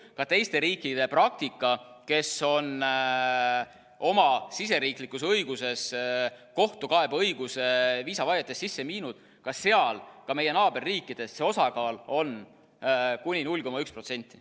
Ka teiste riikide praktika, kes on oma siseriiklikus õiguses kohtukaebeõiguse viisavaiete puhul sisse viinud, on selline, et ka seal, ka meie naaberriikides, see osakaal on kuni 0,1%.